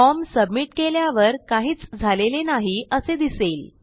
form submit केल्यावर काहीच झालेले नाही असे दिसले